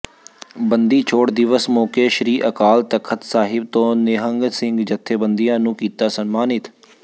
ਬੰਦੀ ਛੋੜ ਦਿਵਸ ਮੌਕੇ ਸ੍ਰੀ ਅਕਾਲ ਤਖ਼ਤ ਸਾਹਿਬ ਤੋਂ ਨਿਹੰਗ ਸਿੰਘ ਜਥੇਬੰਦੀਆਂ ਨੂੰ ਕੀਤਾ ਸਨਮਾਨਿਤ